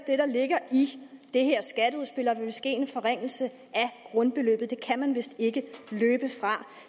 ligger i det her skatteudspil er der vil ske en forringelse af grundbeløbet det kan man vist ikke løbe fra